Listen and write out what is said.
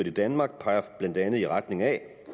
i danmark peger blandt andet i retning af